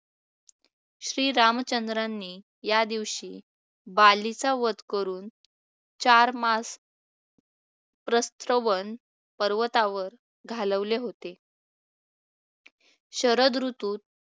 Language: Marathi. श्रीरामचंद्रांनी या दिवशी बालीचा वध करून चार मास प्रत्सोवन पर्वतावर घालवले होते. शरद ऋतूत